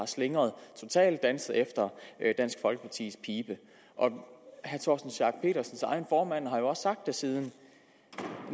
slingret og totalt danset efter dansk folkepartis pibe herre torsten schack pedersens egen formand har jo også siden